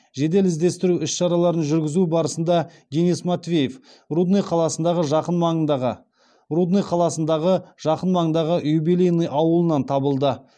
жедел іздестіру іс шараларын жүргізу барысында денис матвеев рудный қаласындағы жақын маңдағы юбилейный ауылынан табылды